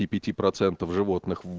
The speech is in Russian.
и пяти процентов животных в